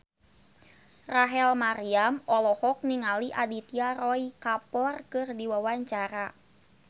Rachel Maryam olohok ningali Aditya Roy Kapoor keur diwawancara